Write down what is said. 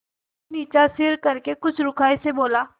फिर नीचा सिर करके कुछ रूखाई से बोला